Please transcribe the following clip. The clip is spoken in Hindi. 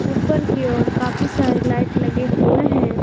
ऊपर की ओर काफी सारी लाइट लगे हुए हैं।